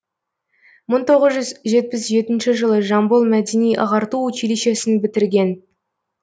мың тоғыз жүз жетпіс жетінші жылы жамбыл мәдени ағарту училищесін бітірген